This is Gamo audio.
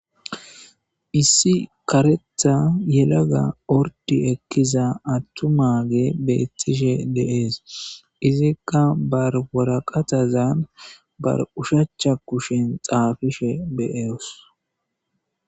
issi karetha yelaga ordi ekkiza attumage beettishe deees izikka barworaqatazan bar ushacha kushen xaafishe bee'os